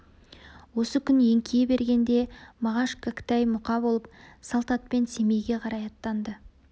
осы күн еңкейе бергенде мағаш кәкітай мұқа болып салт атпен семейге қарай аттанды